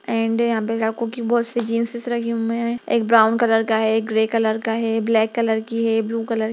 and यहाँ पे लड़कों की बहुत सी जेन्सेस रखी हुई हैं एक ब्राउन कलर का है एक ग्रे कलर का है ब्लैक कलर की है ब्लू कलर --